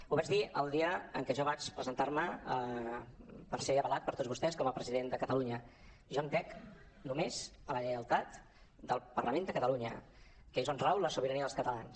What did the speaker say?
ho vaig dir el dia en què jo vaig presentar·me per ser avalat per tots vostès com a president de catalunya jo hem dec només a la lleialtat del parlament de catalunya que és on rau la sobirania dels catalans